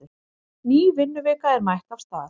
Ný vinnuvika er mætt af stað.